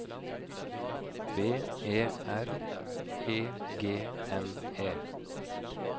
B E R E G N E